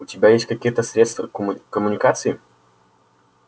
у тебя есть какие-то средства коммуникации